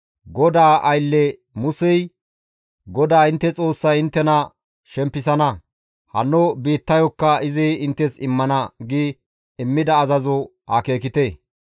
«GODAA aylle Musey, ‹GODAA intte Xoossay inttena shempisana; hanno biittayokka izi inttes immana› gi immida azazoza akeekite.